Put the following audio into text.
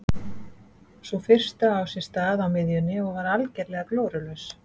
Sú fyrsta á sér stað á miðjunni og var algerlega glórulaus.